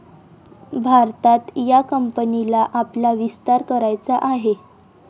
भारतात या कंपनीला आपला विस्तार करायचा आहे.